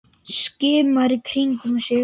Skimar í kringum sig.